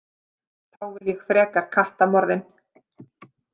Þá vil ég frekar kattamorðin.